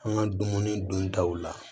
An ka dumuni duntaw la